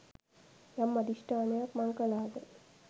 යම් අධිෂ්ඨානයක් මං කළාද